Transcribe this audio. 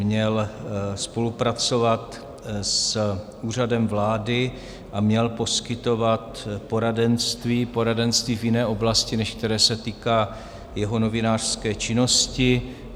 Měl spolupracovat s Úřadem vlády a měl poskytovat poradenství - poradenství v jiné oblasti, než které se týká jeho novinářské činnosti.